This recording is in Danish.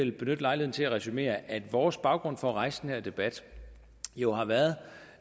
vil benytte lejligheden til at resumere at vores baggrund for at rejse den her debat jo har været